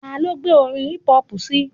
Ta ló gbé orin hip-hop síi?